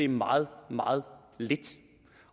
meget meget lidt